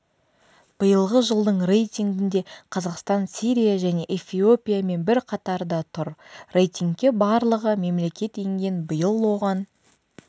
биылғы жылдың рейтингінде қазақстан сирия және эфиопиямен бір қатарда тұр рейтингке барлығы мемлекет енген биыл оған